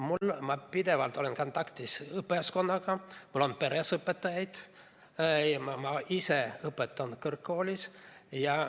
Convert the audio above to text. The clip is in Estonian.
Ma olen pidevalt kontaktis õpetajaskonnaga, mul on peres õpetajaid, ma ise õpetan kõrgkoolis.